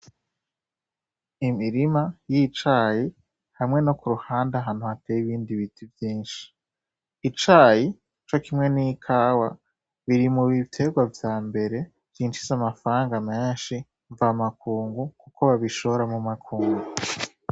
Imirima y'icayi hamwe no kuruhande ahantu hateye ibindi biti vyinshi. Icayi canke ikawa biri mubiterwa vyambere vyinjiza amafaranga menshi mvamakungu kuko babishora mumakungu.